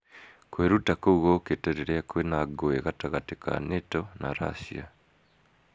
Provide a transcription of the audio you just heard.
Kwiruta kuu gukite riria kwina ngũĩ gatagatĩ ka NATO na Racia.